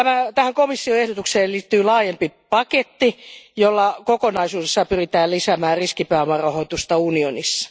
Tähän komission ehdotukseen liittyy laajempi paketti, jolla kokonaisuudessaan pyritään lisäämään riskipääomarahoitusta unionissa.